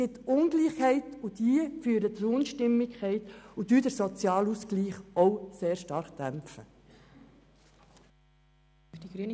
Ich bin auch in meinem Job immer wieder damit konfrontiert, die Leute langsam dorthin zu führen, dass sie mit ihrem Geld auskommen.